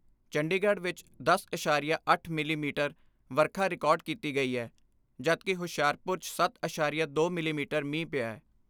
ਚੰਡੀਗੜ੍ਹ ਵਿਚ ਦਸ ਅਸਾਰੀਆ ਅੱਠ ਮਿਲੀ ਮੀਟਰ ਵਰਖਾ ਰਿਕਾਰਡ ਕੀਤੀ ਗਈ ਐ ਜਦਕਿ ਹੁਸ਼ਿਆਰਪੁਰ 'ਚ ਸੱਤ ਅਸਾਰੀਆ ਦੋ ਮਿਲੀ ਮੀਟਰ ਮੀਂਹ ਪਿਐ।